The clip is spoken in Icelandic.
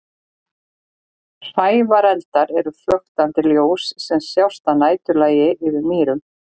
Hrævareldar eru flöktandi ljós sem sjást að næturlagi yfir mýrum.